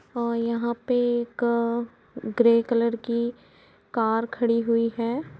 और यहाँ पे एक ग्रे कलर की कार खड़ी हुई है।